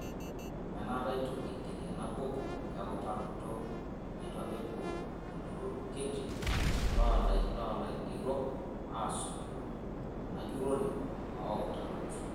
Enaata eitu eigeri ena bukuu eutaroto teneitu apa epuo olturur kitii lolaigerok asotu enajurore ooutarot.